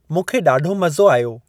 मूंखे ॾाढो मज़ो आयो।